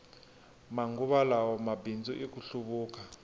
manguva lawa mabindzu i ku hluvuka